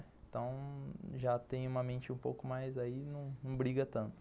Então já tem uma mente um pouco mais aí, não briga tanto.